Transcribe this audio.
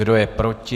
Kdo je proti?